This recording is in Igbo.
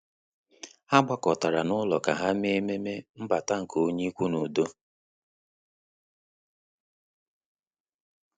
Há gbàkọ́tárà n’ụ́lọ́ kà há mèé ememe mbata nke onye ikwu n’udo.